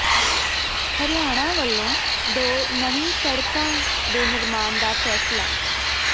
ਹਰਿਆਣਾ ਵੱਲੋਂ ਦੋ ਨਵੀਂ ਸੜਕਾਂ ਦੇ ਨਿਰਮਾਣ ਦਾ ਫ਼ੈਸਲਾ